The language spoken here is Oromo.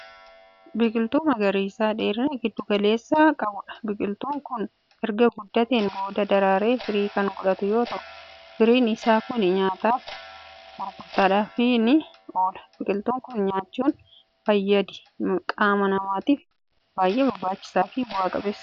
Biqiltuu magariisa dheerina gidduu galeessaa qabuudha. biqiltuun Kuni erga guddateen booda daraaree firii Kan godhatu yoo ta'u, firiin Isaa Kuni nyaataaf I gurgurtaadhafis ni oola. biqiltuu Kan nyaachuun fayyaadi qaama namaatiif baay'ee barbaachisaafi bu'a qabeessadha.